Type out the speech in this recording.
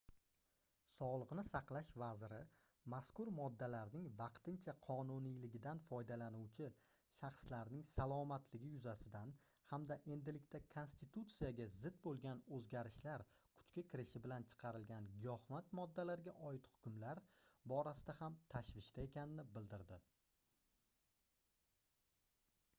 sogʻliqni saqlash vaziri mazkur moddalarning vaqtincha qonuniyligidan foydalanuvchi shaxslarning salomatligi yuzasidan hamda endilikda konstitutsiyaga zid boʻlgan oʻzgarishlar kuchga kirishi bilan chiqarilgan giyohvand moddalarga oid hukmlar borasida ham tashvishda ekanini bildirdi